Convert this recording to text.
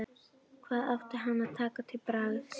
Hvað átti hann að taka til bragðs?